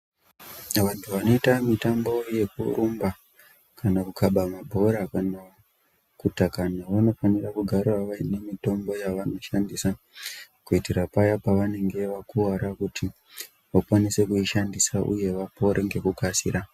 Wandu wanoite mitambo yekurumba kana kukhaba mabhora kana kutaka nhau wanofanira kugara wane mitombo yawanoshandisa kuitira paya pawanenge wakuwara kuti wakwanise kuishandisa uye wapore ngekukasira.